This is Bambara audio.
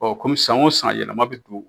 Ɔ kɔmi san o san yɛlɛma bɛ don